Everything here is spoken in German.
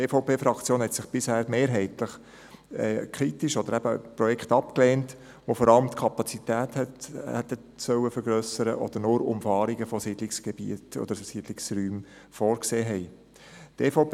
Die EVP-Fraktion hat bisher mehrheitlich Projekte abgelehnt, die vor allem die Kapazität vergrössern sollten oder nur Umfahrungen von Siedlungsräumen vorgesehen haben.